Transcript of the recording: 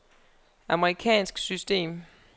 amerikansk system